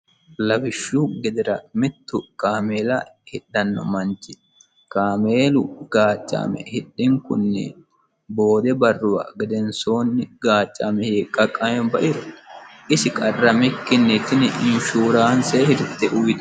lawishshu gedera mittu kaameela hidhanno manchi kaameelu gaacca'ame hidhinkunni bood barruwa gedensoonni gaacca'ame hiiqqaqama bairo isi qarramikkinni tini insuraance hirte uyiitanno.